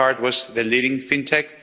Wirecard was the leading fintech.